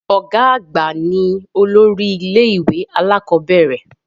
Ọ̀gá àgbà ní olórí ilẹ́-ìwé alakọ̀bẹ́ẹ́rẹ̀